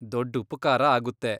ದೊಡ್ಡ್ ಉಪಕಾರ ಆಗುತ್ತೆ.